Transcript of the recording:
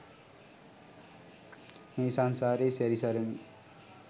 මේ සංසාරේ සැරි සරමින්